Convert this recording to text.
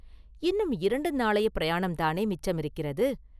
இன்னும் இரண்டு நாளையப் பிரயாணம்தானே மிச்சமிருக்கிறது?